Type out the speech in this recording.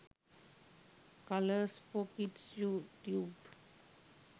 colours for kids you tube